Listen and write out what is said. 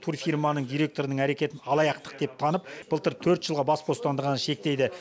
турфирманың директорының әрекетін алаяқтық деп танып былтыр төрт жылға бас бостандығын шектейді